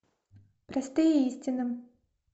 простые истины